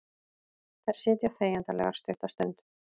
Þær sitja þegjandalegar stutta stund.